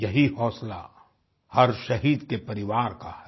यही हौंसला हर शहीद के परिवार का है